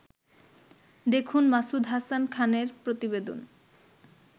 দেখুন মাসুদ হাসান খানের প্রতিবেদন